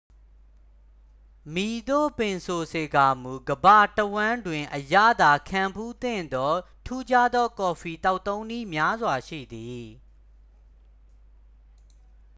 မည်သို့ပင်ဆိုစေကာမူ ကမ္ဘာတဝှမ်းတွင် အရသာခံဖူးသင့်သော ထူးခြားသောကော်ဖီသောက်သုံးနည်းများစွာရှိသည်